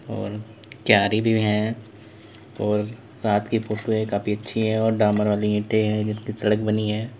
और क्यारी भी है और रात की फोटो है काफी अच्छी है और डामर वाली ईंटें हैं सड़क बनी हैं।